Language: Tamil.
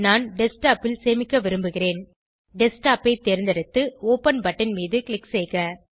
நான் டெஸ்க்டாப் ல் சேமிக்க விரும்புகிறேன் டெஸ்க்டாப் ஐ தேர்ந்தெடுத்து ஒப்பன் பட்டன் மீது க்ளிக் செய்க